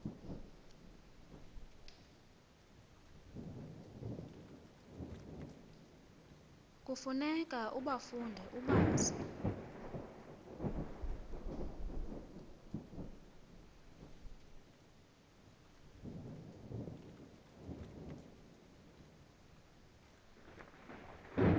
kufuneka ubafunde ubazi